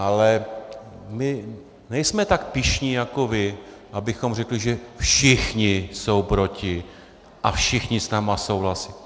Ale my nejsme tak pyšní jako vy, abychom řekli, že všichni jsou proti a všichni s námi souhlasí.